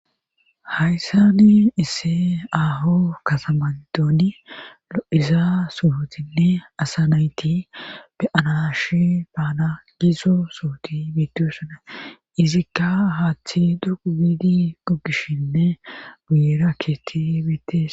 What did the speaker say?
hayssani isse aho kasamandooni lo7iza sutinne asa nayti beyanash baana gizo suhuti biidiussana izikka haaththi dugu biidi gogishshinne guyera keetti biittes